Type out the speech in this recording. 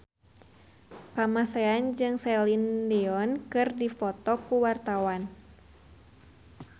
Kamasean jeung Celine Dion keur dipoto ku wartawan